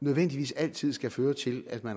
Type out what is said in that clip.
nødvendigvis altid skal føre til at man